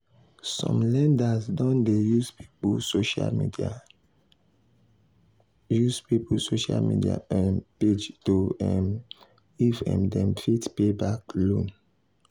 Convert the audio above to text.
some lenders don dey use people social use people social media um page to know um if um dem fit pay back loan.